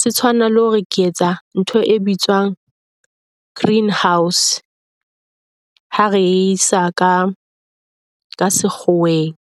se tshwana le hore ke etsa ntho e bitswang greenhouse ha re e isa ka Sekgoweng.